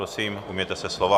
Prosím, ujměte se slova.